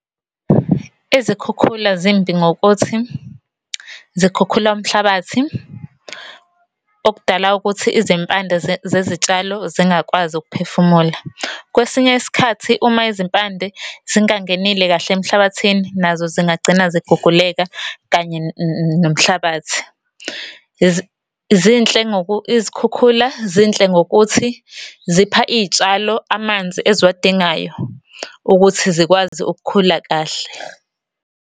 Izikhukhula zimbi ngokuthi zikhukhula umhlabathi okudala ukuthi izimpande zezitshalo zingakwazi ukuphefumula. Kwesinye isikhathi uma izimpande zingangenile kahle emhlabathini, nazo zingagcina ziguguleka kanye nomhlabathi. Zinhle izikhukhula zinhle ngokuthi zipha iy'tshalo amanzi eziwadingayo ukuthi zikwazi ukukhula kahle.